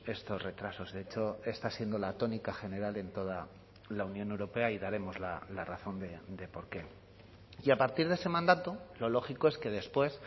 estos retrasos de hecho está siendo la tónica general en toda la unión europea y daremos la razón de por qué y a partir de ese mandato lo lógico es que después